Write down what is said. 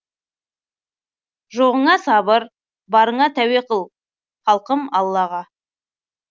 жоғыңа сабыр барыңа тәуе қыл халқым аллаға